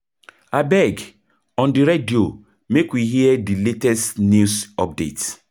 Abeg, on di radio make we hear di latest news update.